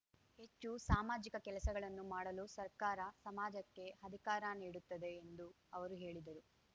ಹೆಚ್ಚು ಸಾಮಾಜಿಕ ಕೆಲಸಗಳನ್ನು ಮಾಡಲು ಸರ್ಕಾರ ಸಮಾಜಕ್ಕೆ ಅಧಿಕಾರ ನೀಡುತ್ತದೆ ಎಂದೂ ಅವರು ಹೇಳಿದರು